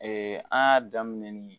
an y'a daminɛ ni